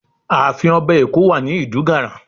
Ààfin Ọba Eko wà ní Idunganran